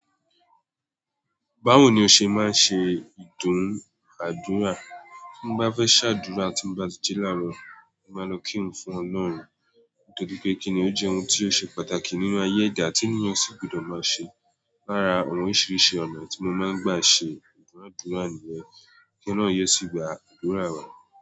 Báwo ni o ṣe máa ń ṣe ìdúnàádúrà? Bí mo bá fẹ́ ṣàdúrà tí mo bá ti ji láarọ, mo máa lọ kírun fún Ọlọ́run nítorí pé kíni ó jẹ́ ohun tí ó ṣe pàtàkì nínu ayé ẹ̀dá tí ènìyàn sì gbọdọ̀ máa ṣe. Lára àwọn oríṣiríṣi ọ̀nà tí mo máa ń gbà ṣe ìdúnàádúrà nìyẹn kí Ọlọ́run yi o sì gba àdúrà wa.